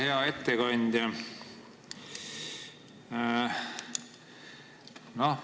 Hea ettekandja!